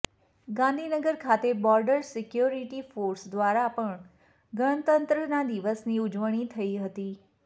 ગાંધીનગર ખાતે border security force દ્વારા પણ ગણતંત્રતા દિવસની ઉજવણી થઈ હતી